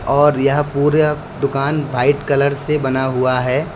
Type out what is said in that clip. और यह पूरे दुकान व्हाइट कलर से बना हुआ है।